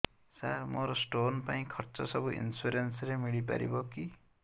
ସାର ମୋର ସ୍ଟୋନ ପାଇଁ ଖର୍ଚ୍ଚ ସବୁ ଇନ୍ସୁରେନ୍ସ ରେ ମିଳି ପାରିବ କି